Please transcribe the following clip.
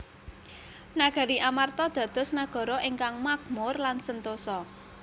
Nagari Amarta dados nagara ingkang makmur lan sentosa